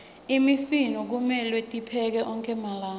imifino kumelwe tiphekwe onkhe malanga